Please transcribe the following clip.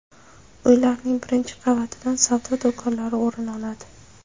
Uylarning birinchi qavatidan savdo do‘konlari o‘rin oladi.